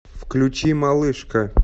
включи малышка